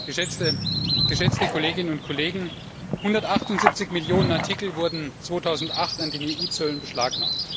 Herr Präsident, geschätzte Kolleginnen und Kollegen! 178 Millionen Artikel wurden 2008 an den EU Zöllen beschlagnahmt.